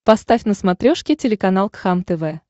поставь на смотрешке телеканал кхлм тв